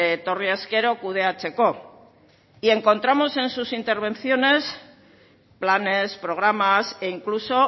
etorri ezkero kudeatzeko y encontramos en sus intervenciones planes programas e incluso